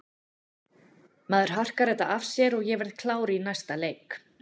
Maður harkar þetta af sér og ég verð klár í næsta leik.